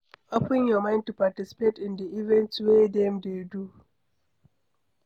Open your mind to participate in di events wey dem dey do